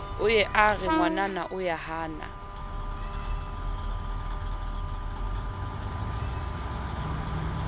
o ye a re ngwanamahana